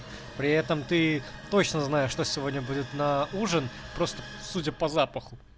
при этом ты точно знаю что сегодня будет на ужин просто судя по запаху